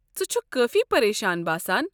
ژٕ چھُکھ کٲفی پریشان باسان۔